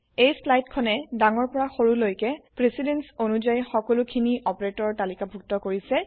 এই চ্লাইদ খনে ডাঙৰৰ পৰা সৰুলৈকে precedence160 অনুযায়ী সকলো খিনি অপাৰেটৰ তালিকাভুত্ত কৰিছে